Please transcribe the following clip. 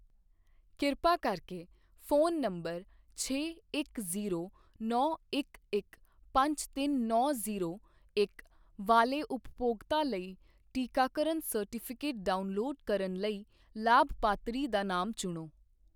ਕਿਰਪਾ ਕਰਕੇ ਫ਼ੋਨ ਨੰਬਰ ਛੇ ਇੱਕ ਜ਼ੀਰੋ ਨੌ ਇੱਕ ਇੱਕ ਪੰਜ ਤਿੰਨ ਨੌ ਜ਼ੀਰੋ ਇੱਕ ਵਾਲੇ ਉਪਭੋਗਤਾ ਲਈ ਟੀਕਾਕਰਨ ਸਰਟੀਫਿਕੇਟ ਡਾਊਨਲੋਡ ਕਰਨ ਲਈ ਲਾਭਪਾਤਰੀ ਦਾ ਨਾਮ ਚੁਣੋ।